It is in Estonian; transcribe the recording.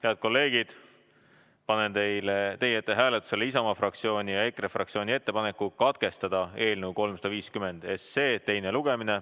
Head kolleegid, panen teie ette hääletusele Isamaa fraktsiooni ja EKRE fraktsiooni ettepaneku katkestada eelnõu 350 teine lugemine.